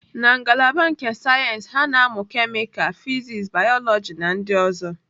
Na ngalaba nke sayensị, ha na-amụ kemịkalụ, fịsis, bayoloji na ndị ọzọ.